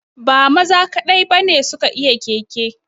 Ba maza kaɗai ba ne su ka iya keke